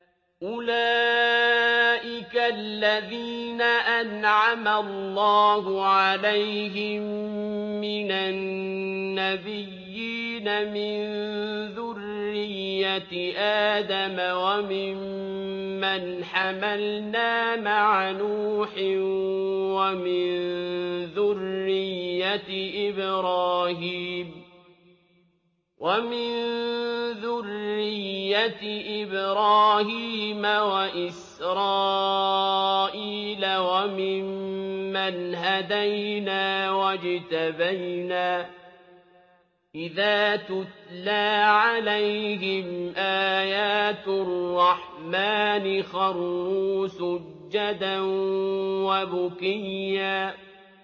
أُولَٰئِكَ الَّذِينَ أَنْعَمَ اللَّهُ عَلَيْهِم مِّنَ النَّبِيِّينَ مِن ذُرِّيَّةِ آدَمَ وَمِمَّنْ حَمَلْنَا مَعَ نُوحٍ وَمِن ذُرِّيَّةِ إِبْرَاهِيمَ وَإِسْرَائِيلَ وَمِمَّنْ هَدَيْنَا وَاجْتَبَيْنَا ۚ إِذَا تُتْلَىٰ عَلَيْهِمْ آيَاتُ الرَّحْمَٰنِ خَرُّوا سُجَّدًا وَبُكِيًّا ۩